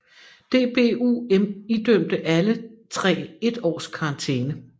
DBU idømte alle tre et års karantæne